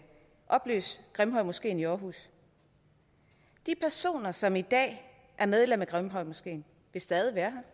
opløse grimhøjmoskeen i aarhus de personer som i dag er medlem af grimhøjmoskeen vil stadig være